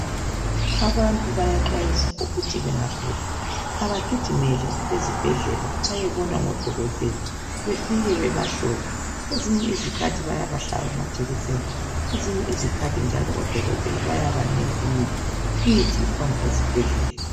Abantu bayaxwayiswa ukuthi bengagula abagijimele ezibhedlela bayebonwa ngodokotela befike bebahlole kwezinye izikhathi bayabahlaba amajekiseni kwezinye izikhathi njalo odokotela bayabanika imithi ikhona ezibhedlela.